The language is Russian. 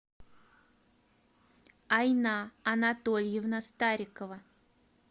айна анатольевна старикова